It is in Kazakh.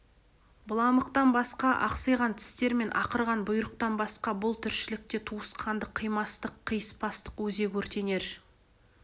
быламықтан басқа ақсиған тістер мен ақырған бұйрықтан басқа бұл тіршілікте туысқандық қимастық қиыспастық өзек өртенер